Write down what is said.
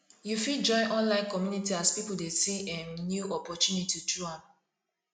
yu fit join online community as pipo dey see um new opportunity through am